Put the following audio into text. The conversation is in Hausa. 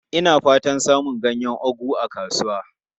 Ina fatan samun ganyen ugu a kasuwa.